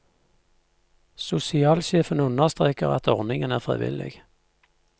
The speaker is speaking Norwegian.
Sosialsjefen understreker at ordningen er frivillig.